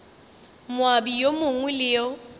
moabi yo mongwe le yo